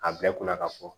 A bɛɛ kunna ka fɔ